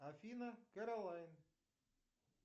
афина кэролайн